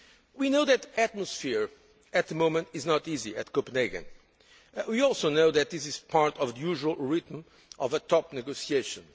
We know that the atmosphere at the moment is not easy at Copenhagen. We also know that this is part of the usual rhythm of a top negotiation.